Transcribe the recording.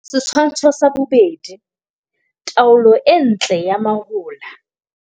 Setshwantsho sa 2. Taolo e ntle ya mahola.